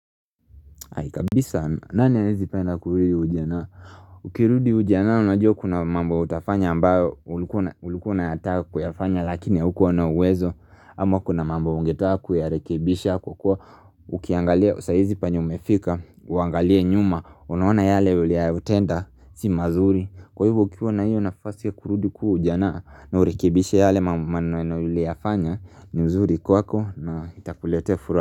Ai kabisa, nani hawezi penda kurudi ujanaa? Ukirudi ujanaa, unajua kuna mambo utafanya ambayo ulikuwa unayataka kuyafanya akini haukuwa na uwezo ama kuna mambo ungetaka kuyarekebisha kwa kuwa ukiangalia saa hizi penye umefika Uangalie nyuma, unaona yale uliyoyatenda, si mazuri Kwa hivo ukiwa na hiyo nafasi kurudi kuwa ujanaa na urekibisha yale maneno uliyafanya ni mzuri kwako na itakuletea furaha.